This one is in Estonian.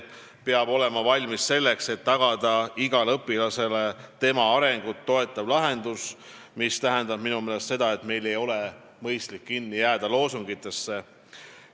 Eesmärk on see, et tagada igale õpilasele tema arengut toetav lahendus, mis tähendab minu meelest seda, et meil ei ole mõistlik jääda kinni loosungitesse.